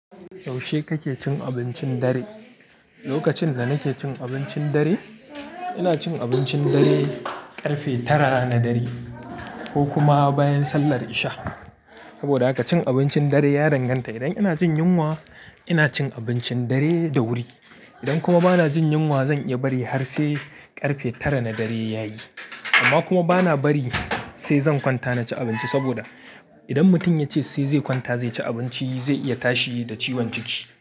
Yaushe kake cin abincin dare? Lokacin da nake cin abincin dare, ina cin abincin dare ƙarfe tara na dare ko kuma bayan sallar isha. Saboda haka cin abincin dare ya danganta. Idan ina jin yunwa, ina cin abincin dare da wuri. Idan kuma ba na jin yunwa, zan iya bari har sai ƙarfe tara na dare ya yi. Amma kuma ba na bari sai zan kwanta na ci abinci saboda idan mutum ya ce sai zai kwanta zai ci abinci, zai iya tashi da ciwon ciki.